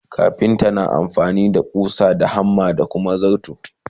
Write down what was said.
kafinta na amfani da ƙusa, hammer da Kuma zarto.